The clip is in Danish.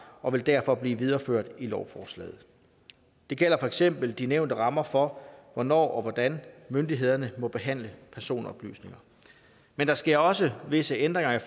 og vil derfor blive videreført i lovforslaget det gælder for eksempel de nævnte rammer for hvornår og hvordan myndighederne må behandle personoplysninger men der sker også visse ændringer